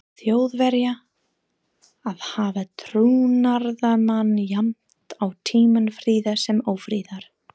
Þjóðverja að hafa trúnaðarmann jafnt á tímum friðar sem ófriðar.